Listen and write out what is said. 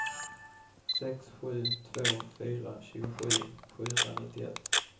sex sju två fyra tjugosju sjuhundranittioett